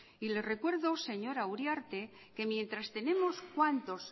y le recuerdo señora uriarte que mientras tenemos cuántos